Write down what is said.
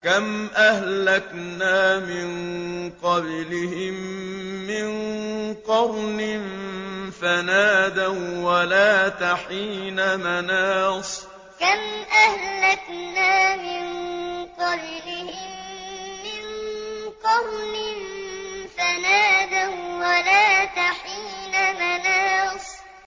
كَمْ أَهْلَكْنَا مِن قَبْلِهِم مِّن قَرْنٍ فَنَادَوا وَّلَاتَ حِينَ مَنَاصٍ كَمْ أَهْلَكْنَا مِن قَبْلِهِم مِّن قَرْنٍ فَنَادَوا وَّلَاتَ حِينَ مَنَاصٍ